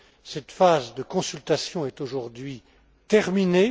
Cette phase de consultation est aujourd'hui terminée.